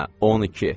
Hə, 12.